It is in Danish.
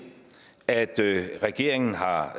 at regeringen har